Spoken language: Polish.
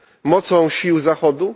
mocą sił Zachodu?